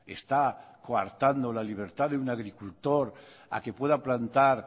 está coartando la libertad de un agricultor a que pueda plantar